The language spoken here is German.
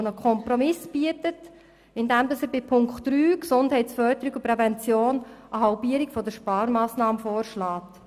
Dieser bietet einen Kompromiss, indem er bei Punkt 3, Gesundheitsförderung und Prävention, eine Halbierung der Sparmassnahme vorschlägt.